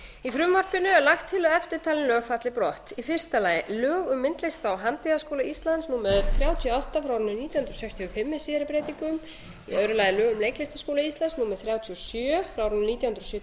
í frumvarpinu er lagt til að eftirtalin lög falli brott fyrstu lög um myndlista og handíðaskóla íslands númer þrjátíu og átta nítján hundruð sextíu og fimm með síðari breytingum önnur lög um leiklistarskóla íslands númer þrjátíu og sjö nítján hundruð sjötíu og